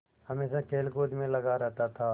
हमेशा खेलकूद में लगा रहता था